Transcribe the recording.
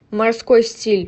морской стиль